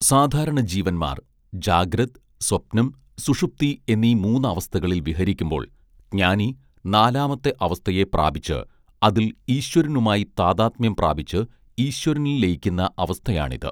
സാധാരണ ജീവന്മാർ ജാഗ്രത് സ്വപ്നം സുഷുപ്തി എന്നീ മൂന്നവസ്ഥകളിൽ വിഹരിക്കുമ്പോൾ ജ്ഞാനി നാലാമത്തെ അവസ്ഥയെ പ്രാപിച്ച് അതിൽ ഈശ്വരനുമായി താദാത്മ്യം പ്രാപിച്ച് ഈശ്വരനിൽ ലയിക്കുന്ന അവസ്ഥയാണിത്